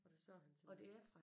Og der sagde han til mig